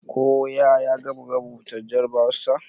Koya ya gama rubuta jarrabawarsa?